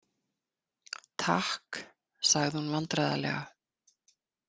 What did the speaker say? Takk, sagði hún vandræðalega.